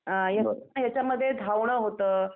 अ यांच्यामध्ये धावणं होतं.